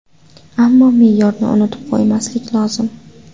Ammo me’yorni unutib qo‘ymaslik lozim.